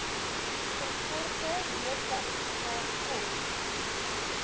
verkorte doodsertifikaat kos